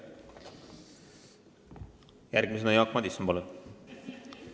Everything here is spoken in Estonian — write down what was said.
Järgmisena Jaak Madison, palun!